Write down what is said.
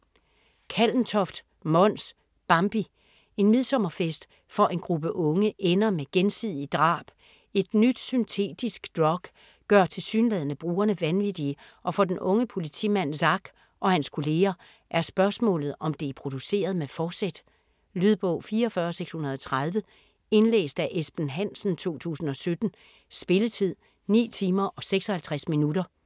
Kallentoft, Mons: Bambi En midsommerfest for en gruppe unge ender med gensidige drab. Et nyt syntetisk drug gør tilsyneladende brugerne vanvittige og for den unge politimand Zack og hans kolleger er spørgsmålet, om det er produceret med fortsæt. Lydbog 44630 Indlæst af Esben Hansen, 2017. Spilletid: 9 timer, 56 minutter.